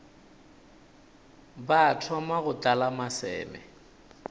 ba thoma go tlala maseme